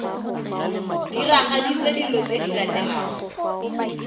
diragaditswe dilo tse di latelang